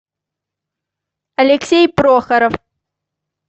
алексей прохоров